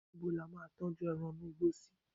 níbo la ma n tọju eran inú igbó sí